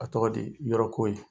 A tɔgɔ di? Yɔrɔ ko in.